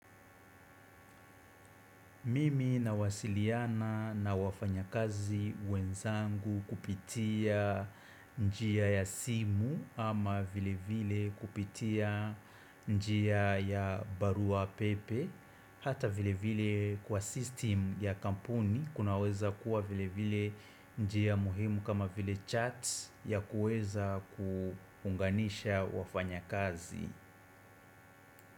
Mimi nawasiliana na wafanyakazi wenzangu kupitia njia ya simu ama vile vile kupitia njia ya barua pepe. Hata vile vile kwa system ya kampuni kunaweza kuwa vile vile njia muhimu kama vile chat ya kueza kuunganisha wafanyakazi.